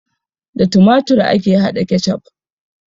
Da tumatur ake hada ketchup